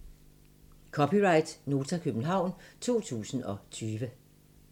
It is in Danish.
(c) Nota, København 2020